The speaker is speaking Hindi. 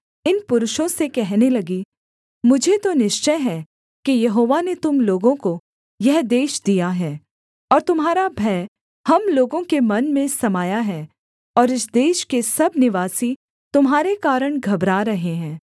इन पुरुषों से कहने लगी मुझे तो निश्चय है कि यहोवा ने तुम लोगों को यह देश दिया है और तुम्हारा भय हम लोगों के मन में समाया है और इस देश के सब निवासी तुम्हारे कारण घबरा रहे हैं